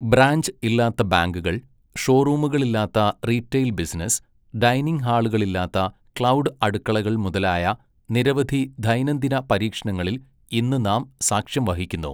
Branch ഇല്ലാത്ത ബാങ്കുകൾ, ഷോറൂമുകളില്ലാത്ത റീട്ടെയിൽ ബിസിനസ്സ്, ഡൈനിംഗ് ഹാളുകളില്ലാത്ത ക്ലൗഡ് അടുക്കളകൾ മുതലായ നിരവധി ദൈനംദിന പരീക്ഷണങ്ങളിൽ ഇന്ന് നാം സാക്ഷ്യം വഹിക്കുന്നു.